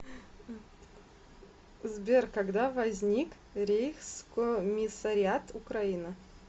сбер когда возник рейхскомиссариат украина